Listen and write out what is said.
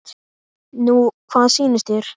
Nú hvað sýnist þér.